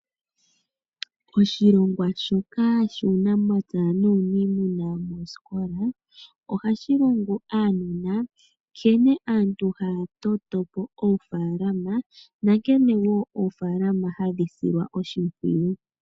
Oshilongwa shoka shuunamapya nuunimuna moosikola ohashi longo aanona nkene aantu haya toto po oofaalama nankene wo oofaalama hadhi silwa oshimpwiyu.